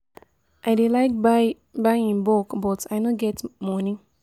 I dey like buy buy in bulk but I no get moni.